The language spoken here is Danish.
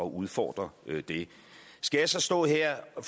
at udfordre det skal jeg så stå her og